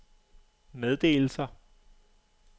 meddelelser